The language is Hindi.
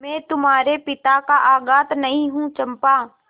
मैं तुम्हारे पिता का घातक नहीं हूँ चंपा